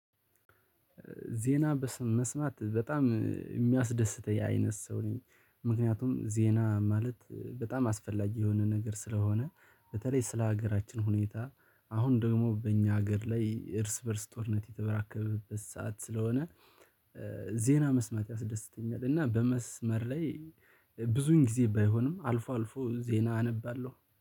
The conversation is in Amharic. ዜና በስም መስማት በጣም የሚያስደስተኝ አይነት ሰው ነኝ ምክንያቱም ዜና ማለት በጣም አስፈላጊ የሆነ ነገር ስለሆነ በተለይ ስለ ሀገራችን ሁኔታ አሁን ደግሞ በእኛ ሀገር ላይ እርስ በእርስ ጦርነት የተበራከበበት ሰዓት ስለሆነ። ዜና መስማት ያስደስተኛል እና በመስመር ላይ ብዙን ጊዜ ባይሆንም አልፎ አልፎ ዜና አነባለሁ